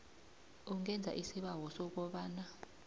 ungenza isibawo sokobana